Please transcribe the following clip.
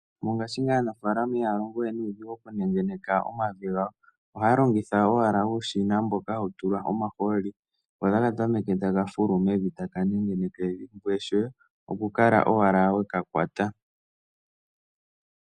Mongaashingeyi aanafaalama ihaya longowe nuudhigu oku nengeneka omavi gawo. Ohaya longitha owala uushina mboka hawu tulwa omahooli ko otaka tameke ta ka fulu mevi taka nengeneke evi ngoye shoye oku kala owala weka kwata.